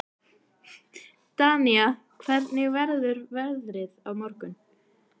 Danía, hvernig verður veðrið á morgun?